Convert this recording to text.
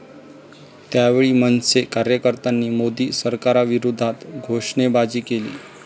यावेळी मनसे कार्यकर्त्यांनी मोदी सरकारविरोधात घोषणाबाजी केली.